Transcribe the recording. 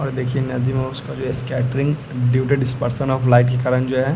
और देखिए नदी कें उसका --